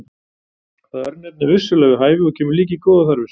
Það örnefni er vissulega við hæfi og kemur líka í góðar þarfir.